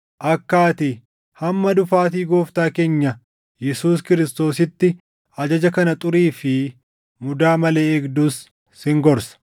akka ati hamma dhufaatii Gooftaa keenya Yesuus Kiristoositti ajaja kana xurii fi mudaa malee eegdus sin gorsa.